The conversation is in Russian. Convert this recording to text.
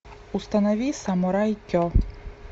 установи самурай ке